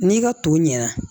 N'i ka to ɲɛna